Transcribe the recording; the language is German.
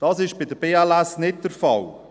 Dies ist bei der BLS AG nicht der Fall.